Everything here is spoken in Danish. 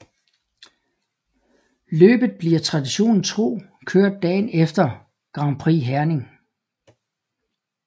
Løbet bliver traditionen tro kørt dagen efter Grand Prix Herning